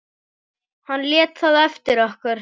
Hann lét það eftir okkur.